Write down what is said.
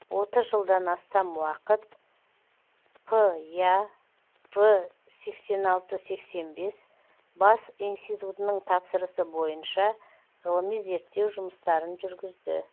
отыз жылдан астам уақыт п я в сексен алты сексен бес бас институтының тапсырысы бойынша ғылыми зерттеу жұмыстарын жүргізді